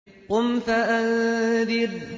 قُمْ فَأَنذِرْ